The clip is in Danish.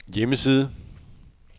hjemmeside